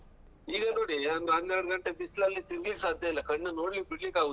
ಈಗ ನೋಡೀ ಒಂದ್ ಹನ್ನೆರಡ್ ಗಂಟೆ ಬಿಸ್ಲಲ್ಲಿ ತಿರ್ಗ್ಲಿಕ್ ಸಾಧ್ಯ ಇಲ್ಲ ಕಣ್ಣ್ ನೋಡ್ಲಿಕ್ಕೆ ಬಿಡ್ಲಿಕ್ಕೆ ಆಗುದಿಲ್ಲ.